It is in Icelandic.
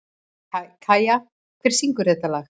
Kæja, hver syngur þetta lag?